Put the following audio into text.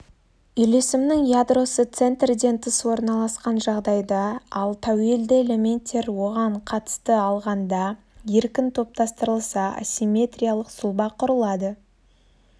үйлесімнің ядросы центрден тыс орналасқан жағдайда ал тәуелді элементтер оған қатысты алғанда еркін топтастырылса ассимметриялық сұлба құрылады